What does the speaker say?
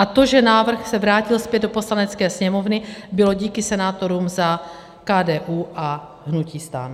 A to, že návrh se vrátil zpět do Poslanecké sněmovny, bylo díky senátorům za KDU a hnutí STAN.